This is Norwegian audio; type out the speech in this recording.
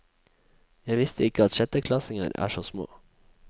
Jeg visste ikke at sjetteklassinger er så små.